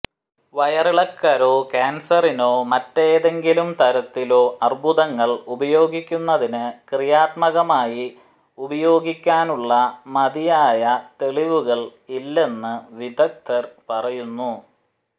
വയറിളക്കരോ കാൻസറിനോ മറ്റേതെങ്കിലും തരത്തിലോ അർബുദങ്ങൾ ഉപയോഗിക്കുന്നതിന് ക്രിയാത്മകമായി ഉപയോഗിക്കാനുള്ള മതിയായ തെളിവുകൾ ഇല്ലെന്ന് വിദഗ്ധർ പറയുന്നു